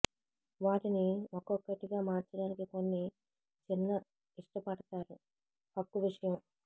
వాటిని ఒక్కొక్కటిగా మార్చడానికి కొన్ని చిన్న ఇష్టపడతారు హక్కు విషయం